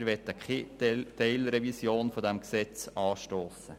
Wir möchten keine Teilrevision des GRG anstossen.